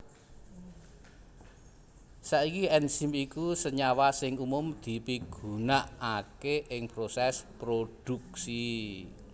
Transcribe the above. Saiki enzim iku senyawa sing umum dipigunaaké ing prosès prodhuksi